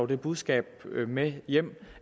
det budskab med hjem